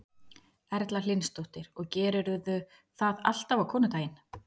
Erla Hlynsdóttir: Og gerirðu það alltaf á konudaginn?